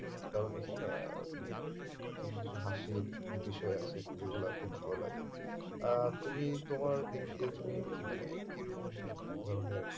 কারণ এখানে আহ উম কিছু কিছু হাসির বিষয় আছে যেগুলো খুব ভালো লাগে আহ তুমি তোমার দিক দিয়ে তুমি মানে কি রকম ধরণের